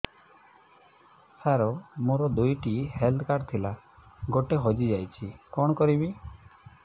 ସାର ମୋର ଦୁଇ ଟି ହେଲ୍ଥ କାର୍ଡ ଥିଲା ଗୋଟେ ହଜିଯାଇଛି କଣ କରିବି